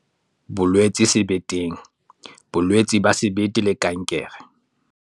Bolwetse sebeteng- bolwetse ba sebete le kankere